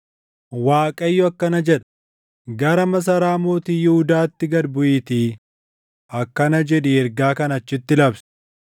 Waaqayyo akkana jedha: “Gara masaraa Mootii Yihuudaatti gad buʼiitii akkana jedhii ergaa kana achitti labsi;